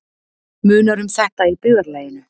Munar um þetta í byggðarlaginu